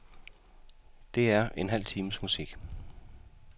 Det er en halv times musik.